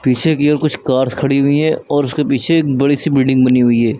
पीछे की ओर कुछ कार्स खड़ी हुई है और उसके पीछे एक बड़ी सी बिल्डिंग बनी हुई है।